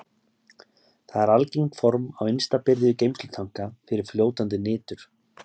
Það er algengt form á innsta byrði geymslutanka fyrir fljótandi nitur.